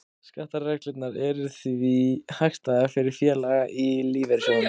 Skattareglurnar eru því hagstæðar fyrir félaga í lífeyrissjóðum.